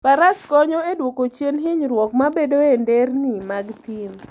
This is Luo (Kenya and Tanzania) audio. Faras konyo e dwoko chien hinyruok mabedoe e nderni mag thim.